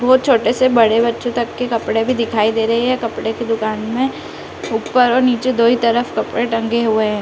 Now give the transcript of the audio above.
वह छोटे से बड़े बच्चों तक के कपड़े भी दिखाई दे रहें हैं कपड़े की दुकान में ऊपर और नीचे दो ही तरफ कपड़े टंगे हुए हैं।